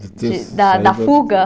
Da da fuga?